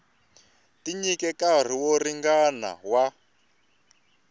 tinyike nkarhi wo ringana wa